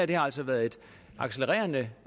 det har altså været et accelererende